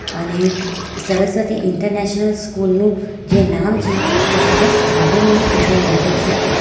અને Saraswati international school નું જે નામ છે તે સરસ કાર્વિંગ અંદર લખ્યું છે.